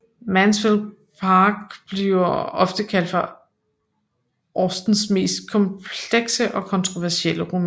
Mansfield Park bliver ofte kaldt for Austens mest komplekse og kontroversielle roman